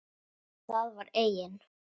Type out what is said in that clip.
Það var eigin